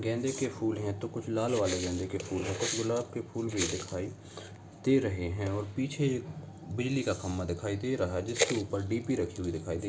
गेंदे के फूल हैं तो कुछ लाल वाले गेंदे के फूल हैं। कुछ गुलाब के फूल भी दिखाई दे रहे हैं और पीछे एक बिजली का खंबा दिखाई दे रहा है जिसके ऊपर डीपी रखी हुई दिखाई दे --